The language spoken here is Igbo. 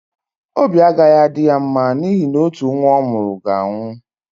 Obi agaghị adị ya mma n’ihi na otu nwa ọ mụrụ ga-anwụ.